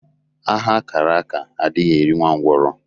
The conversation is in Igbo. Agha a kàrà áká adighị eri nwa ngwurọ